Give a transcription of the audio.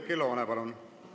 Oudekki Loone, palun!